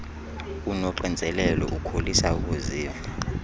unoxinzelelo ukholisa ukuziva